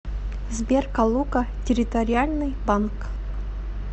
сбер калуга территориальный банк